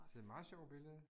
Det et meget sjovt billede